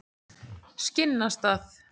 Skinnastað